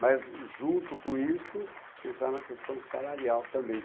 Mas junto com isso, pensar na questão salarial também.